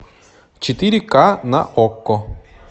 четыре ка на окко